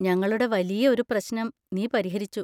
ഞങ്ങളുടെ വലിയ ഒരു പ്രശ്നം നീ പരിഹരിച്ചു.